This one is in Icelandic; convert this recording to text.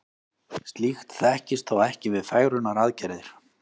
slíkt þekkist þó ekki við fegrunaraðgerðir